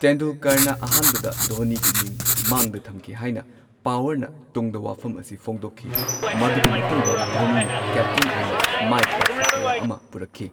ꯇꯦꯟꯗꯨꯜꯀꯔꯅ ꯑꯍꯥꯟꯕꯗ ꯙꯣꯅꯤꯒꯤ ꯃꯤꯡ ꯃꯥꯡꯗ ꯊꯝꯈꯤ ꯍꯥꯏꯅ ꯄꯋꯥꯔꯅ ꯇꯨꯡꯗ ꯋꯥꯐꯝ ꯑꯁꯤ ꯐꯣꯡꯗꯣꯛꯈꯤ꯫ ꯃꯗꯨꯒꯤ ꯃꯇꯨꯡꯗ ꯙꯣꯅꯤꯅ ꯀꯦꯞꯇꯦꯟ ꯑꯣꯏꯅ ꯃꯥꯏꯄꯥꯛꯄ ꯀꯌꯥ ꯑꯃ ꯄꯨꯔꯛꯈꯤ꯫